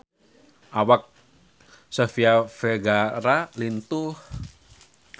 Awak Sofia Vergara lintuh